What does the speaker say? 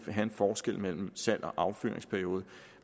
have en forskel mellem salgs og affyringsperiode